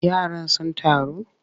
Yaran sun taru?